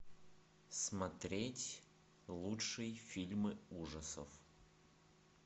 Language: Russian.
смотреть лучшие фильмы ужасов